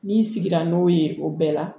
N'i sigira n'o ye o bɛɛ la